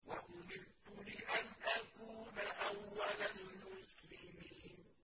وَأُمِرْتُ لِأَنْ أَكُونَ أَوَّلَ الْمُسْلِمِينَ